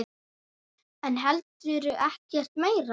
En heldur ekkert meira.